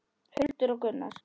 Hildur og Gunnar.